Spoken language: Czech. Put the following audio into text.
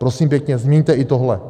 Prosím pěkně změňte i tohle.